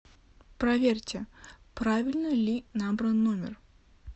проверьте правильно ли набран номер